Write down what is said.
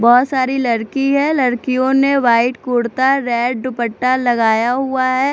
बहोत सारी लड़की है लड़कियों ने व्हाइट कुर्ता रेड दुपट्टा लगाया हुआ है।